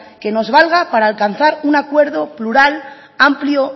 que nos valga para alcanzar un acuerdo plural amplio